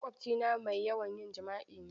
Maƙwabcina mai yawan yin jima'i ne.